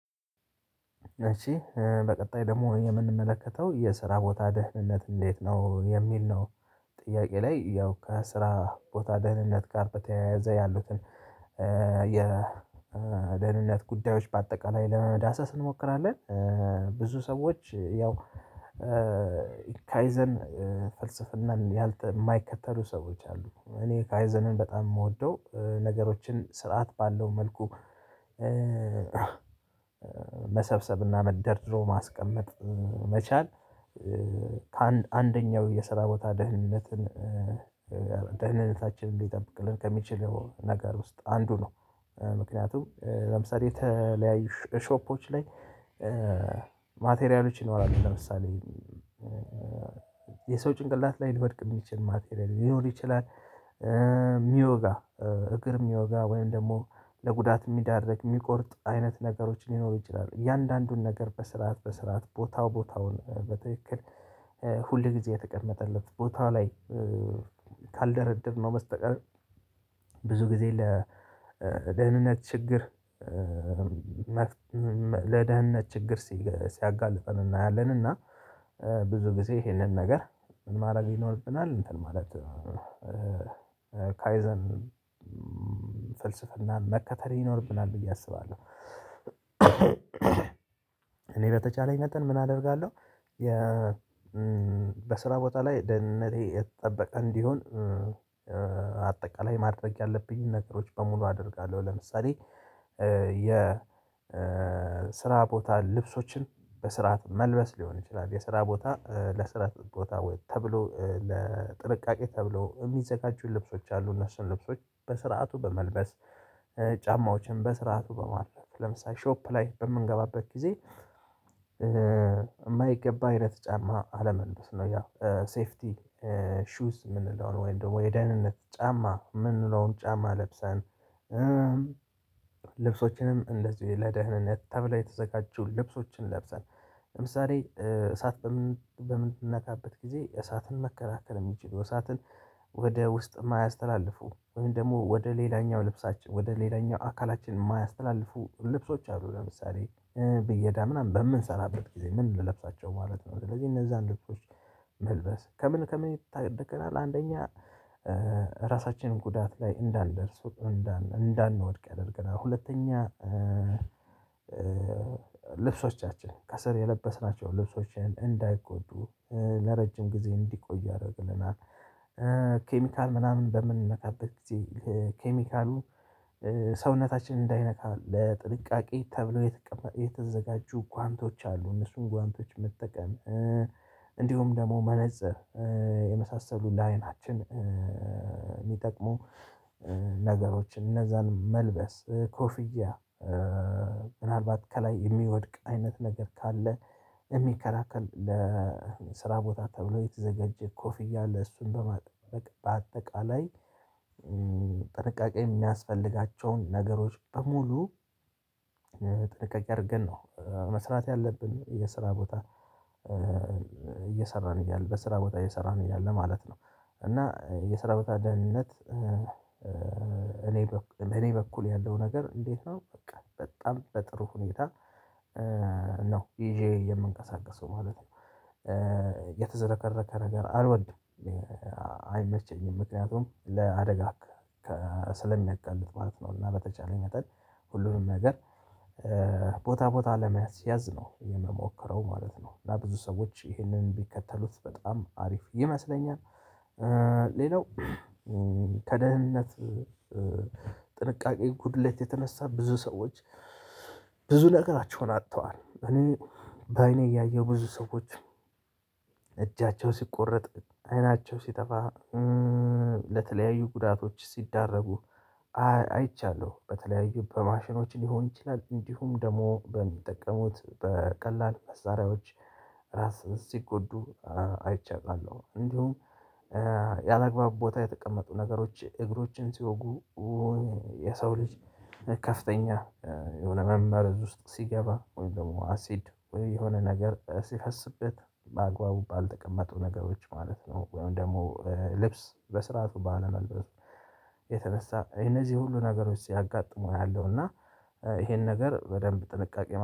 እሺ በቀጣይ ደግሞ የምንመለከተው የስራ ቦታ ደህንነት እንዴት ነው የሚል ነው? ጥያቄ ላይ ያው ከስራ ቦታ ደህንነት ጋር በተያያዘ ያሉትን የደህንነት ጉዳዮች በአጠቃላይ ለመዳሰስ እንሞክራለን። ብዙ ሰዎች ያው ካይዘን ፍልስፍናን የማይከተሉ ሰዎች አሉ እኔ ካይዘንን በጣም የምወደው ነገሮችን ስርዓት ባለው መልኩ። መሰብሰብና ደርድሮ ማስቀመጥ መቻል። ከአንደኛው የስራ ቦታ ደህንነትን ደህንነታችንን እንዲጠብቅልን ከሚችለው ነገር ውስጥ አንዱ ነው። ምክንያቱም ለምሳሌ የተለያዩ ሾፖች ላይ ማቴሪያሎች ይኖራሉ ለምሳሌ የሰው ጭንቅላት ላይ ልወድቅ የሚችል ማቴሪያል ሊሆን ይችላል። የሚወጋ እግር የሚወጋ ወይም ደግሞ ለጉዳት የሚዳረግ የሚቆርጥ አይነት ነገሮችን ሊኖሩ ይችላሉ። እያንዳንዱን ነገር በስርዓት በስርዓት ቦታው ቦታውን በትክክል ሁልጊዜ የተቀመጠለት ቦታ ላይ ካልደረደርነው በስተቀር ብዙ ጊዜ ለደህንነት ችግር። ለደህንነት ችግር ሲያጋልጠን እናያለን። እና ብዙ ጊዜ ይሄንን ነገር ምን ማድረግ ይኖርብናል እንትን ማለት ካይዘን ፍልስፍናን መከተል ይኖርብናል ብዬ አስባለሁ። እኔ በተቻለኝ መጠን ምን አደርጋለሁ። በስራ ቦታ ላይ ደህንነቴ የተጠበቀ እንዲሆን አጠቃላይ ማድረግ ያለብኝን ነገሮች በሙሉ አደርጋለሁ። ለምሳሌ የስራ ቦታ ልብሶችን በስርዓት መልበስ ሊሆን ይችላል። የስራ ቦታ ለስራ ቦታ ወይ ተብሎ ለጥንቃቄ ተብሎ የሚዘጋጁን ልብሶች አሉ። እነሱን ልብሶች በስርዓቱ በመልበስ ጫማዎችን በስርዓቱ በማለት ለምሳሌ ሾፕ ላይ በምንገባበት ጊዜ የማይገባ አይነት ጫማ አለመልበስ ነው። ያ ሴፍቲ ሹዝ የምንለውን ወይም ደግሞ የደህንነት ጫማ የምንለውን ጫማ ለብሰን። ልብሶችንም እንደዚሁ ለደህንነት ተብለው የተዘጋጀውን ልብሶችን ለብሰን። ለምሳሌ እሳት በምንነካበት ጊዜ እሳትን መከላከል የሚችል እሳትን ወደ ውስጥ የማያስተላልፉ ወይም ደግሞ ወደ ሌላኛው ልብሳችን ወደ ሌላኛው አካላችን የማያስተላልፉ ልብሶች አሉ። ለምሳሌ ብዬዳ ምናምን በምንሰራበት ጊዜ ምን ልለብሳቸው ማለት ነው። ስለዚህ እነዛን ልብሶች መልበስ ከምን ከምን ይታደገናል። አንደኛ ራሳችንን ጉዳት ላይ እንዳንደርስ እንዳንወድቅ ያደርገናል። ሁለተኛ ልብሶቻችን ከስር የለበስናቸው ልብሶችን እንዳይጎዱ ለረጅም ጊዜ እንዲቆይ ያደርግልናል። ኬሚካል ምናምን በምንነካበት ጊዜ ኬሚካሉ ሰውነታችን እንዳይነካ ለጥንቃቄ ተብሎ የተዘጋጁ ጓንቶች አሉ። እነሱን ጓንቶች መጠቀም እንዲሁም ደግሞ መነፀር የመሳሰሉ ለአይናችን የሚጠቅሙ ነገሮችን እነዛን መልበስ ኮፍያ። ምናልባት ከላይ የሚወድቅ አይነት ነገር ካለ የሚከላከል ለስራ ቦታ ተብሎ የተዘጋጀ ኮፍያ ለእሱም በማጥበቅ በአጠቃላይ። ጥርቃቄ የሚያስፈልጋቸውን ነገሮች በሙሉ ጥንቃቄ አድርገን ነው መስራት ያለብን የስራ ቦታ እየሰራን እያለ በስራ ቦታ እየሰራን እያለ ማለት ነው። እና የሰራዊት ደህንነት እኔ በእኔ በኩል ያለው ነገር እንዴት ነው? በጣም በጥሩ ሁኔታ ነው ይዤ የምንቀሳቀሰው ማለት ነው። የተዝረከረከ ነገር አልወድም። አይመቸኝም ምክንያቱም ለአደጋ ስለሚያጋልጥ ማለት ነው። እና በተቻለ መጠን ሁሉንም ነገር ቦታ ቦታ ለመያዝ ነው የምሞክረው ማለት ነው። ለብዙ ሰዎች ይህንን ቢከተሉት በጣም አሪፍ ይመስለኛል። ሌላው ከደህንነት ጥንቃቄ ጉድሌት የተነሳ ብዙ ሰዎች ብዙ ነገራቸውን አጥተዋል። እኔ በአይኔ ያየሁ ብዙ ሰዎች እጃቸው ሲቆረጥ አይናቸው ሲጠፋ ለተለያዩ ጉዳቶች ሲዳረጉ አይቻለሁ። በተለያዩ በማሽኖች ሊሆን ይችላል እንዲሁም ደግሞ በሚጠቀሙት በቀላል መሳሪያዎች ራስን ሲጎዱ አይቸ አውቃለሁ። እንዲሁም ያላግባብ ቦታ የተቀመጡ ነገሮች እግሮችን ሲወጉ። የሰው ልጅ ከፍተኛ የሆነ መመረዝ ውስጥ ሲገባ ወይም ደግሞ አሲድ የሆነ ነገር ሲፈስበት ባግባቡ ባልተቀመጡ ነገሮች ማለት ነው። ወይም ደግሞ ልብስ በስርዓቱ በአለመልበስ የተነሳ የነዚህ ሁሉ ነገሮች ሲያጋጥሙ አያለሁ። እና ይሄን ነገር በደንብ ጥንቃቄ